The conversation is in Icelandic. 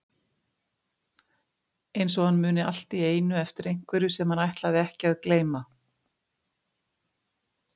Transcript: Eins og hann muni allt í einu eftir einhverju sem hann ætlaði ekki að gleyma.